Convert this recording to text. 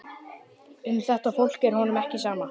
Um þetta fólk er honum ekki sama.